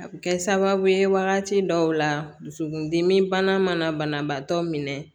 A bɛ kɛ sababu ye wagati dɔw la dusukundimi bana mana banabaatɔ minɛ